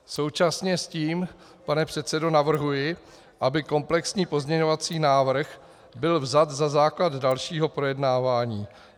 Současně s tím, pane předsedo, navrhuji, aby komplexní pozměňovací návrh byl vzat za základ dalšího projednávání.